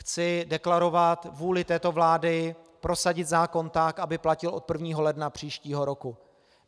Chci deklarovat vůli této vlády prosadit zákon tak, aby platil od 1. ledna příštího roku.